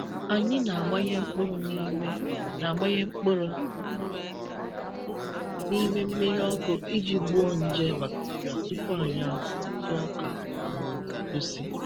Anyị na-agbanye mkpụrụ n'ime na-agbanye mkpụrụ n'ime mmiri ọkụ iji gbuo nje bacteria tupu anyị akụ ntụ ọka ma ọ bụ egusi.